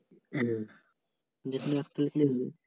হ্যাঁ যেকোন একটা লেখলে হবে